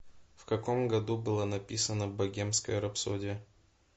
в каком году была написана богемская рапсодия